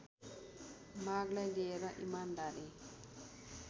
मागलाई लिएर इमानदारी